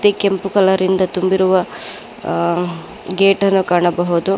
ಗೆ ಕೆಂಪು ಕಲರಿಂದ ತುಂಬಿರುವ ಅ ಗೇಟನ್ನು ಕಾಣಬಹುದು.